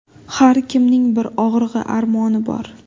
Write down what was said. Har kimning bir og‘rig‘i, armoni bor.